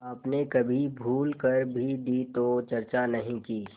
आपने कभी भूल कर भी दी तो चर्चा नहीं की